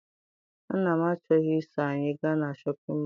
Nna m achọghị I so anyị ga na Shọpịn mọọ.